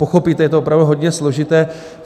Pochopíte, je to opravdu hodně složité.